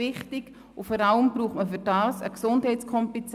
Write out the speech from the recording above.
Vor allem braucht man dazu Gesundheitskompetenz.